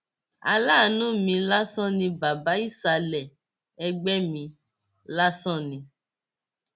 aláàánú mi lásán ni bàbá ìsàlẹ ẹgbẹ mi lásán ni